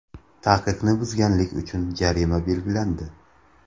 Taqiqni buzganlik uchun jarima belgilandi.